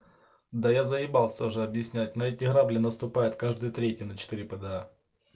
да я заебался уже объяснять на эти грабли наступают каждый третий на четыре пда